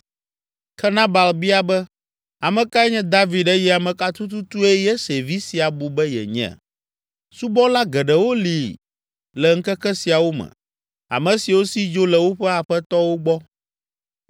Ke Nabal bia be, “Ame kae nye David eye ame ka tututue Yese vi sia bu be yenye? Subɔla geɖewo li le ŋkeke siawo me, ame siwo si dzo le woƒe aƒetɔwo gbɔ.